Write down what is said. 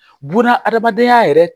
Buna adamadenya yɛrɛ